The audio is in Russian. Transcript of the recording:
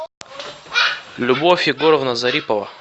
любовь егоровна зарипова